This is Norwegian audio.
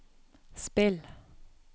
spill